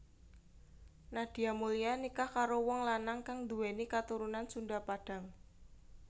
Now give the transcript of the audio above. Nadia Mulya nikah karo wong lanang kang nduwèni katurunan Sunda Padang